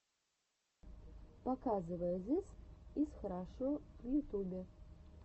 показывай зыс из хорошо в ютубе